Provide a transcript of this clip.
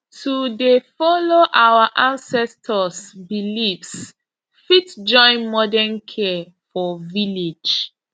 to dey follow our ancestors beliefs fit join modern care for village